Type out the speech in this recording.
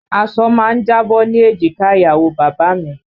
Aṣọ má ń jábọ́ ní èjìká ìyàwó bàbá a mi